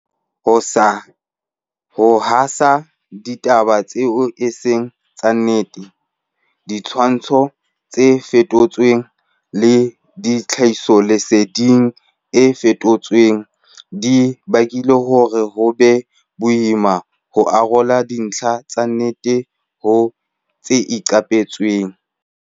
Ho haseha ha ditaba tseo e seng tsa nnete, ditshwantsho tse fetotsweng le tlhahisoleseding e fosahetseng di bakile hore ho be boima ho arola dintlha tsa nnete ho tse iqapetsweng.